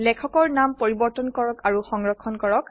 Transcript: লেখকৰ নাম পৰিবৰ্তন কৰক আৰু সংৰক্ষণ কৰক